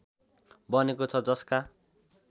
बनेको छ जसका